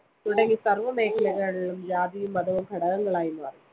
തുടങ്ങി സർവ്വ മേഖലകളിലും ജാതിയും മതവും ഘടകങ്ങളായി മാറി.